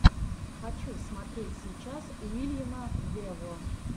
хочу смотреть сейчас уильяма вево